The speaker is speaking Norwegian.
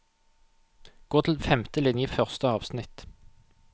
Gå til femte linje i første avsnitt